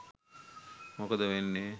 මොකද වෙන්නේ?